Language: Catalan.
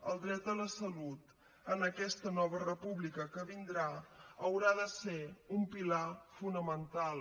el dret a la salut en aquesta nova república que vindrà haurà de ser un pilar fonamental